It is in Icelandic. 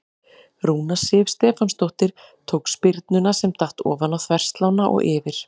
Rúna Sif Stefánsdóttir tók spyrnuna sem datt ofan á þverslánna og yfir.